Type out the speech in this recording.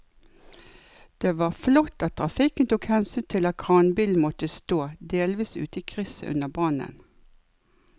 Det var flott at trafikken tok hensyn til at kranbilen måtte stå delvis ute i krysset under brannen.